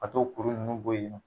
A t'o kuru nunnu bo ye nɔ.